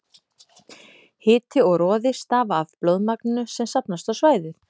Hiti og roði stafa af blóðmagninu sem safnast á svæðið.